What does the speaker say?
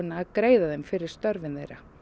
að greiða þeim fyrir störfin þeirra